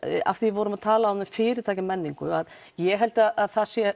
af því við vorum að tala um fyrirtækjamenningu ég held að það sé